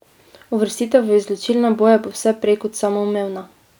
Uvrstitev v izločilne boje bo vse prej kot samoumevna.